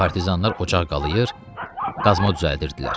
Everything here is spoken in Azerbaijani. Partizanlar ocaq qalayır, qazma düzəldirdilər.